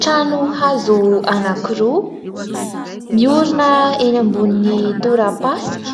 Trano hazo anankiroa miorina eny ambonin'ny tora-pasika,